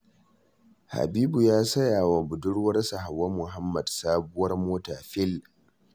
Habibu ya saya wa budurwarsa Hauwa Muhammad sabuwar mota fil!